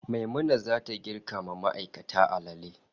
Maimuna zata girka ma ma'aikata alale